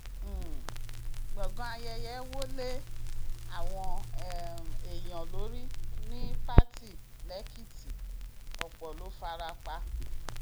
um gbọngàn ayẹyẹ wo lé àwọn um èèyàn lórí ní pátì lẹkìtì ọpọ ló fara pa